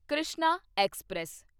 Krishna express